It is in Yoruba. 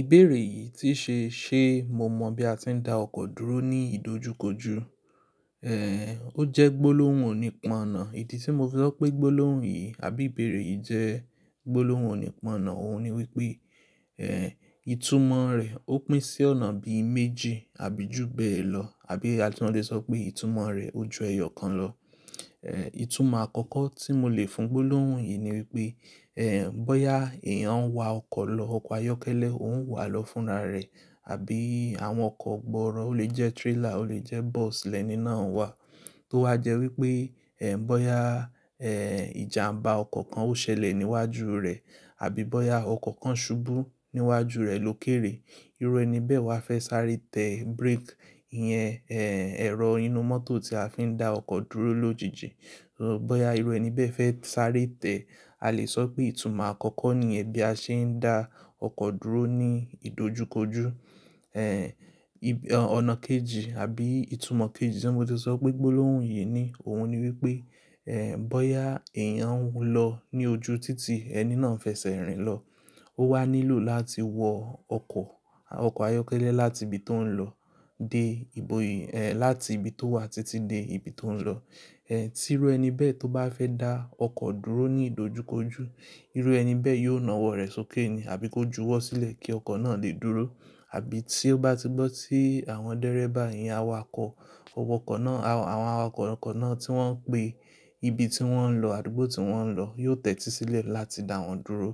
Ìbéèrè yìí tí ṣe, ṣe mo mọ bí a ti ń dá ọkọ̀ dúró ní ìdojúkojú? Èé, ó jẹ́ gbólóhùn onípọ̀nà. Idí tí mo fẹ́ sọ pé gbólóhùn yìí àbí ìbéèrè yìí jẹ́ gbólóhùn onípọ̀nà òun ni wípé, èé, ìtumọ̀ rẹ̀ ó pín sí ọ̀nà bí i méjì àbí jù bẹ́ẹ̀ lọ. Àbí a tun lé sọ pé ìtumọ̀ rẹ̀ ó ju ẹyọ kan lọ. Ẹ̀, ìtumọ̀ àkọ́kọ́ tí mo lè fún gbólóhùn yìí ni wípé, èè, bóyá èèyàn ń wa ọkọ̀ lọ, ọkọ̀ ayọ́kẹ́lẹ́ òun wà á lọ fúnra rẹ̀. Àbí àwọn ọkọ̀ gbọ̀ọrọ̀, ó lè jẹ́ trailer, ó lè jẹ́ bus lẹ́ni náà ń wà. Tó wá jẹ́ wípé, èè, bóyá, èè, ìjàmbá ọkọ̀ kan ó ṣẹlẹ̀ níwájú rẹ̀ àbí bóyá ọkọ̀ kan ṣubú níwájú rẹ̀ lókèèrè. Irú ẹni bẹ́ẹ̀ wà á fẹ́ sáré tẹ brake. Iyẹn, èè, ẹ̀rọ inú mọ́tò tí a fi ń dá ọkọ̀ dúró lójijì. Ṣó bóyá irú ẹni bẹ́ẹ̀ fẹ́ sáré tẹ, a lè sọ pé ìtumọ̀ àkọ́kọ́ ni yẹ bí a ṣe ń dá ọkọ̀ dúró ní ìdojúkojú. Èè, ìb-- ọ̀nà kejì àbí ìtumọ̀ kejì tí mo ti sọ pé gbólóhùn yìí ní, òun ni wípé, èè, bóyá èèyàn ńlọ ní ojú títí ẹni náà n fẹ́ sẹ́rìn lọ. Ó wà á nílò láti wọ ọkọ̀, ọkọ̀ ayọ́kẹ́lẹ́ láti ibi tó ń lọ dé iboyè, èè, láti ibi tó wà títí dé ibi tó ń lọ. Ẹ̀, tí irú ẹni bẹ́ẹ̀ tó bá fẹ́ dá ọkọ̀ dúró ní ìdojúkojú, irú ẹni bẹ́ẹ̀ yóò na ọwọ́ rẹ̀ sókè ni àbí kó ju ọwọ́ sílẹ̀ kí ọkọ̀ náà lè dúró. Àbí tí ó bá ti gbọ́ tí àwọn dẹ́rẹ́bà yẹn awakọ̀, ọkọ̀ náà, àwọn awakọ̀ ọkọ̀ náà tí wọ́n ń pe ibi tí wọ́n ń lọ, àdúgbò tí wọ́n ń lọ, yóò tẹ́tí sílẹ̀ láti dá wọn dúró.